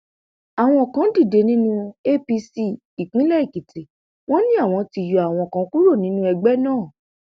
àwọn kan dìde nínú apc ìpínlẹ èkìtì wọn ni àwọn ti yọ àwọn kan kúrò nínú ẹgbẹ náà